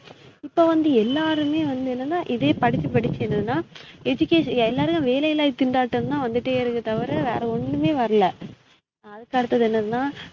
இப்ப வந்து எல்லாருமே வந்து என்னனா இதே படிச்சு படிச்சு என்னனா education எல்லாருமே வேலையில்லா திண்டாட்டம் தான் வந்துடே இருக்கே தவற வேற ஒன்னுமே வரலா அதுக்கு அடுத்தது என்னனா